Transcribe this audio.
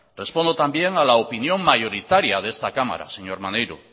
respondo también a la opinión mayoritaria de esta cámara señor maneiro